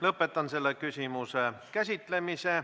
Lõpetan selle küsimuse käsitlemise.